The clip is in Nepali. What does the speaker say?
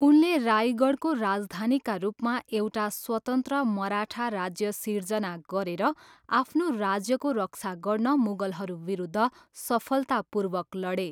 उनले रायगडको राजधानीका रूपमा एउटा स्वतन्त्र मराठा राज्य सिर्जना गरेर आफ्नो राज्यको रक्षा गर्न मुगलहरू विरुद्ध सफलतापूर्वक लडे।